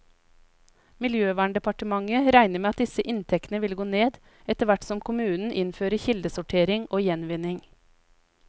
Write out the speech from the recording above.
Miljøverndepartementet regner med at disse inntektene vil gå ned, etterhvert som kommunene innfører kildesortering og gjenvinning.